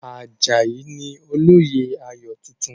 Àjàyí ni olóyè ayò tuntun.